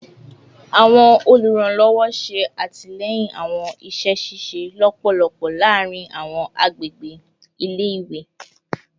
Awọn oluranlọwọ ṣe atilẹyin awọn iṣẹ ṣiṣe lọpọlọpọ laarin awọn agbegbe ile-iwe